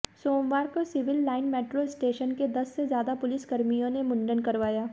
सोमवार को civil line metro station के दस से ज्यादा पुलिसकर्मियों ने मुंडन करवाया